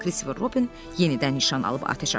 Kristofer Robin yenidən nişan alıb atəş açdı.